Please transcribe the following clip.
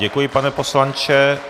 Děkuji, pane poslanče.